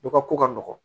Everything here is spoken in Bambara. Dɔ ka ko ka nɔgɔn